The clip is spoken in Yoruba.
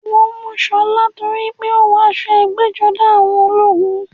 Wọ́n mú Ṣọlá torípé ó wọ aṣọ ẹgbẹ́-jọdá àwọn ológun.